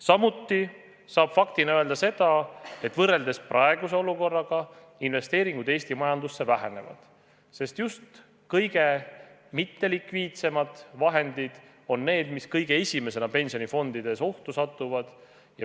Samuti saab faktina öelda seda, et võrreldes praeguse olukorraga investeeringud Eesti majandusse vähenevad, sest just kõige mittelikviidsemad vahendid on need, mis kõige esimesena pensionifondides ohtu satuvad.